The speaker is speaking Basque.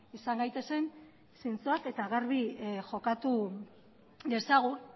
izan gaitezen zintzoak eta garbi jokatu dezagun